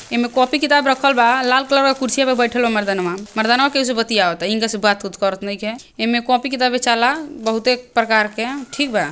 ई में कॉपी किताब रखल बा लाल कलर का कुर्सीया पे बैठल बा मर्दनवा मर्दनवा केउ से बतीयवता इनका से बात-उत करत नइखे इमें कॉपी किताब बेचाला बहुते प्रकार के ठीक बा।